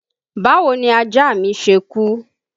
Báwo ni ajá mi ṣe kú?